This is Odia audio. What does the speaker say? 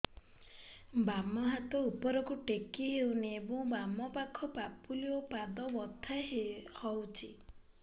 ବାମ ହାତ ଉପରକୁ ଟେକି ହଉନି ଏବଂ ବାମ ପାଖ ପାପୁଲି ଓ ପାଦ ବଥା ହଉଚି